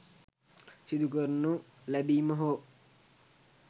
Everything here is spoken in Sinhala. සිදු කරනු ලැබීම හෝ